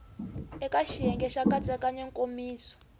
eka xiyenge xa nkatsakanyo nkomiso